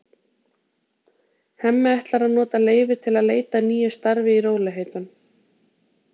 Hemmi ætlar að nota leyfið til að leita að nýju starfi í rólegheitunum.